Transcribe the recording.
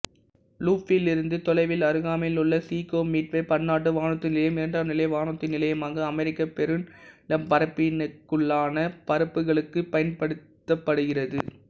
லூப்பிலிருந்து தொலைவில் அருகாமையிலுள்ள Chicago Midway பன்னாட்டு வானூர்தி நிலையம் இரண்டாம்நிலை வானூர்தி நிலையமாக அமெரிக்கப் பெருநிலப்பரப்பினுக்குள்ளான பறப்புக்களுக்கு பயன்படுத்தப்படுகிறது